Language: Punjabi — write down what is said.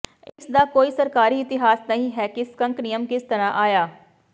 ਇਸ ਦਾ ਕੋਈ ਸਰਕਾਰੀ ਇਤਿਹਾਸ ਨਹੀਂ ਹੈ ਕਿ ਸਕੰਕ ਨਿਯਮ ਕਿਸ ਤਰ੍ਹਾਂ ਆਇਆ